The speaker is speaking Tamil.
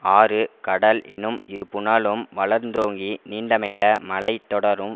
ஆறு கடல் எனும் இருபுனலும் வளர்ந்தோங்கி நீண்டமைந்த மலை தொடரும்